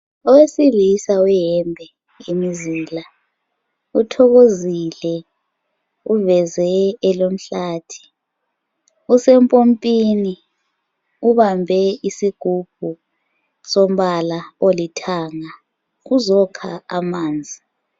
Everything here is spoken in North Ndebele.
Owesilisa weyembe yemizila uthokozile uveze elomhlathi usempompini ubambe isigubhu sombala olithanga uzokha amanzi.